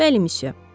Bəli, missiyə.